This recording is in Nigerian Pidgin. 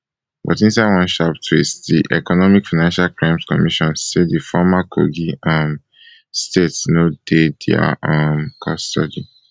but inside one sharp twist di economic financial crimes commission say di former kogi um state no dey dia um custody